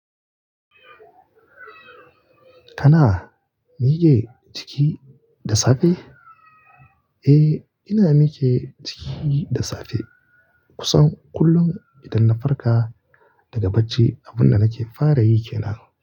Kana mige jiki da safe? Eh, ina mike jiki da safe kusan kullum idan na farka daga bacci, abun da nake fara yi ke nan.